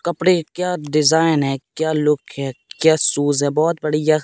कपड़े क्या डिजाइन है क्या लुक है क्या शूज है बहोत बढ़िया--